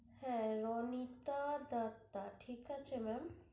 হ্যাঁ রণিতা দত্তা ঠিক আছে ma'am?